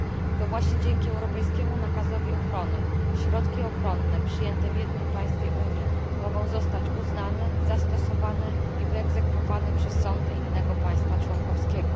To właśnie dzięki europejskim nakazowi ochrony środki ochronne przyjęte w jednym państwie Unii mogą zostać uznane, zastosowane i wyegzekwowane przez sądy innego państwa członkowskiego.